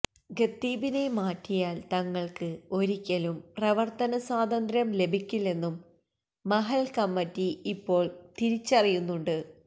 ഖത്തീബിനെ മാറ്റിയാൽ തങ്ങൾക്ക് ഒരിക്കലും പ്രവർത്തന സ്വാതന്ത്ര്യം ലഭിക്കില്ലെന്നും മഹല്ല് കമ്മറ്റി ഇപ്പോൾ തിരിച്ചറിയുന്നുണ്ട്